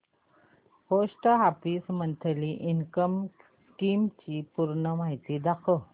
post office monthly income scheme ची पूर्ण माहिती दाखव